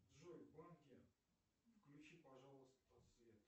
джой в банке включи пожалуйста свет